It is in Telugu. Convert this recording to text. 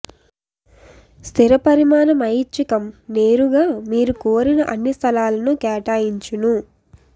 స్థిర పరిమాణం ఐచ్చికము నేరుగా మీరు కోరిన అన్ని స్థలాలను కేటాయించును